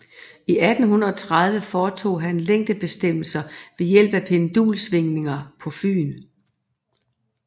I 1830 foretog han længdebestemmelser ved hjælp af pendulsvingninger på Fyn